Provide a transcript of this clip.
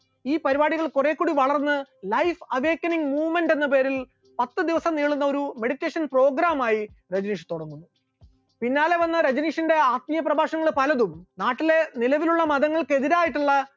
ഈ പരിപാടികൾ കുറേകൂടി വളർന്ന് life awakening movement എന്ന പേരിൽ പത്ത് ദിവസം നീളുന്ന ഒരു meditation programme ആയി രജനീഷ് തുടങ്ങുന്നു, പിന്നാലെ വന്ന രജനീഷിന്റെ ആത്മീയ പ്രഭാഷണങ്ങൾ പലതും നാട്ടിലെ നിലവിലുള്ള മതങ്ങൾക്ക് എതിരായിട്ടുള്ള